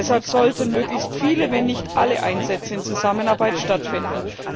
Deshalb sollten möglichst viele, wenn nicht alle Einsätze in Zusammenarbeit stattfinden.